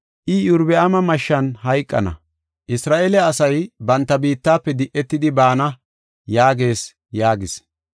I, ‘Iyorbaami mashshan hayqana; Isra7eele asay banta biittafe di7etidi baana’ yaagees” yaagis.